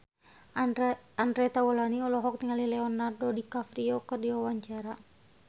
Andre Taulany olohok ningali Leonardo DiCaprio keur diwawancara